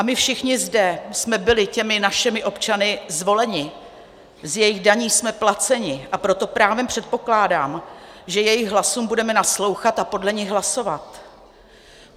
A my všichni zde jsme byli těmi našimi občany zvoleni, z jejich daní jsme placeni, a proto právem předpokládám, že jejich hlasům budeme naslouchat a podle nich hlasovat.